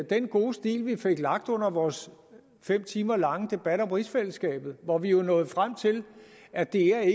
den gode stil vi fik lagt under vores fem timer lange debat om rigsfællesskabet hvor vi jo nåede frem til at det ikke er